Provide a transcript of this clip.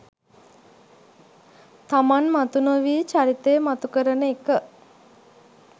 තමන් මතු නොවී චරිතය මතු කරන එක